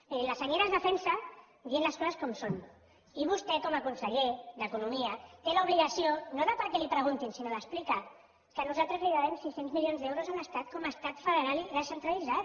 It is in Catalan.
miri la senyera es defensa dient les coses com són i vostè com a conseller d’economia té l’obligació no perquè li ho preguntin sinó d’explicar que nosaltres li devem sis cents milions d’euros a l’estat com a estat federal i descentralitzat